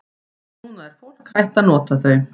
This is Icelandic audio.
Núna er fólk hætt að nota þau.